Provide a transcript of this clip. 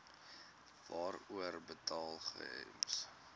waarvoor betaal gems